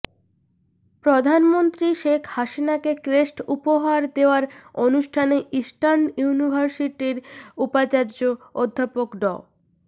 প্রধানমন্ত্রী শেখ হাসিনাকে ক্রেস্ট উপহার দেওয়ার অনুষ্ঠানে ইস্টার্ন ইউনিভার্সিটির উপাচার্য অধ্যাপক ড